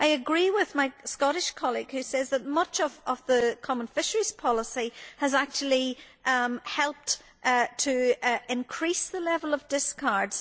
I agree with my Scottish colleague who says that much of the common fisheries policy has actually helped to increase the level of discards.